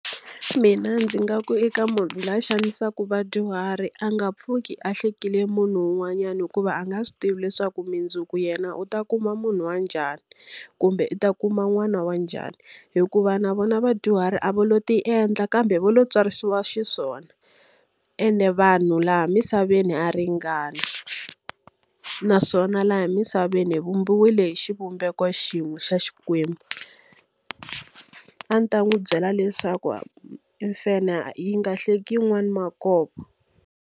Mina ndzi nga ku eka munhu loyi a xanisaka vadyuhari a nga pfuki a hlekile munhu un'wanyani hikuva a nga swi tivi leswaku mundzuku yena u ta kuma munhu wa njhani, kumbe u ta kuma n'wana wa njhani. Hikuva na vona vadyuhari a va lo ti endla kambe va lo tswarisiwa xiswona ende vanhu laha misaveni ha ringana, naswona laha emisaveni hi vumbiwile hi xivumbeko xin'we xa Xikwembu. A ndzi ta n'wi byela leswaku mfanhe yi nga hleki yin'wana makovo.